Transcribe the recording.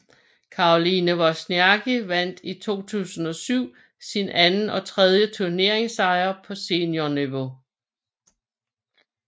Caroline Wozniacki vandt i 2007 sin anden og tredje turneringssejr på seniorniveau